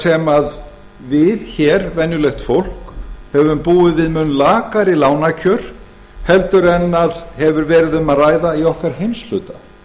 sem við hér venjulegt fólk höfum búið við mun lakari lánakjör en hefur verið um að ræða í okkar heimshluta